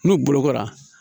N'u bolokora